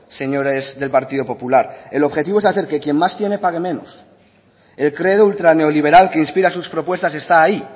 señores del partido popular el objetivo es hacer que quien más tiene pague menos el credo ultraneoliberal que inspira sus propuestas está ahí